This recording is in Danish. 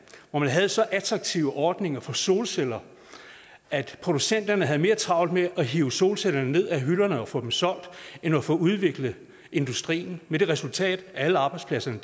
hvor man havde så attraktive ordninger for solceller at producenterne havde mere travlt med at hive solcellerne ned fra hylderne og få dem solgt end at få udviklet industrien med det resultat at alle arbejdspladserne